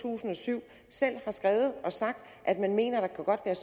tusind og syv selv har skrevet og sagt at man mener at der godt kan